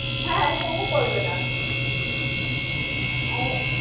হ্যাঁ, কেন করবে না?